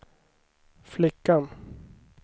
flickan